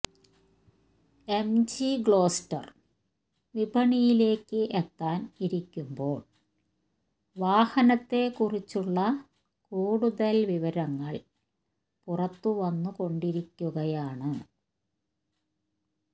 MG Gloster വിപണിയിലേക്ക് എത്താൻ ഇരിക്കുമ്പോൾ വാഹനത്തെ കുറിച്ചുള്ള കൂടുതൽ വിവരങ്ങൾ പുറത്തുവന്നുകൊണ്ടിരിക്കുകയാണ്